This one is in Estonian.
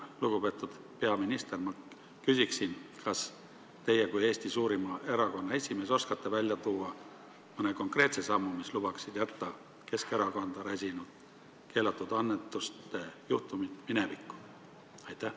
Lugupeetud peaminister, ma küsiks: kas teie kui Eesti suurima erakonna esimees oskate välja tuua mõne konkreetse sammu, mille mõjul Keskerakonda räsinud keelatud annetuste juhtumid jäävad ainult minevikku?